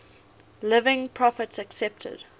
living prophets accepted